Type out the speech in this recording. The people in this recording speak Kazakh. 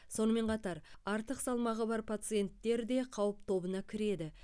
сонымен қатар артық салмағы бар пациенттер де қауіп тобына кіреді